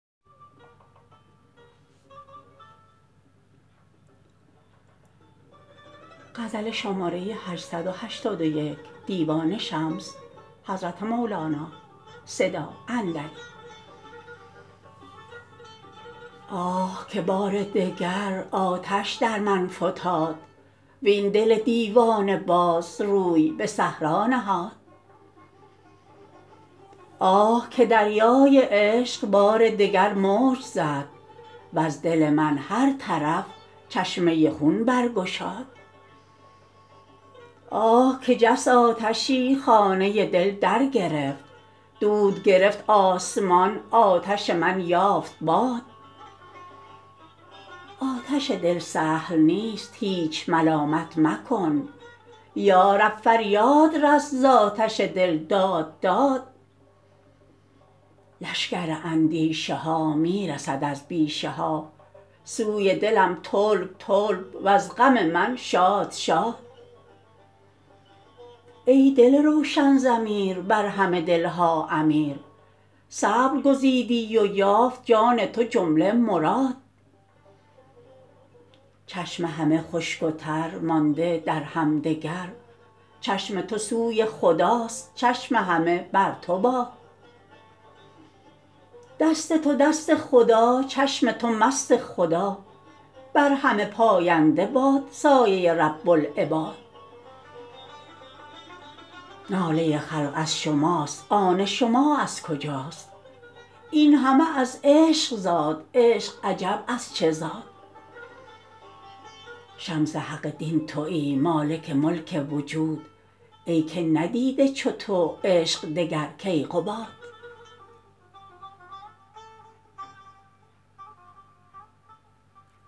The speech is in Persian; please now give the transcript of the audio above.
آه که بار دگر آتش در من فتاد وین دل دیوانه باز روی به صحرا نهاد آه که دریای عشق بار دگر موج زد وز دل من هر طرف چشمه خون برگشاد آه که جست آتشی خانه دل درگرفت دود گرفت آسمان آتش من یافت باد آتش دل سهل نیست هیچ ملامت مکن یا رب فریاد رس ز آتش دل داد داد لشکر اندیشه ها می رسد از بیشه ها سوی دلم طلب طلب وز غم من شاد شاد ای دل روشن ضمیر بر همه دل ها امیر صبر گزیدی و یافت جان تو جمله مراد چشم همه خشک و تر مانده در همدگر چشم تو سوی خداست چشم همه بر تو باد دست تو دست خدا چشم تو مست خدا بر همه پاینده باد سایه رب العباد ناله خلق از شماست آن شما از کجاست این همه از عشق زاد عشق عجب از چه زاد شمس حق دین توی مالک ملک وجود ای که ندیده چو تو عشق دگر کیقباد